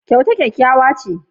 Kyauta ɗan fata ne.